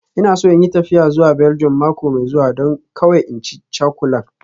Ina so in yi tafiya zuwa Belgium mako mai zuwa, don kawai in ci cakulan